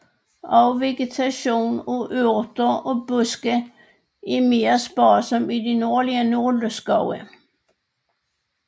Også vegetationen af urter og buske er mere sparsom i de nordlige nåleskove